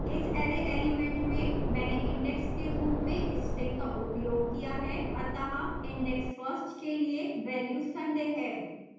इस array element में मैंने index के रूप में string का उपयोग किया है अतः index first के लिए वेल्यू sunday है